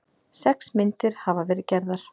Sex myndir hafa verið gerðar